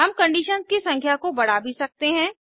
हम कंडीशंस की संख्या को बढ़ा भी सकते हैं